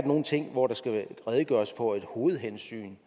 nogle ting hvor der skal redegøres for et hovedhensyn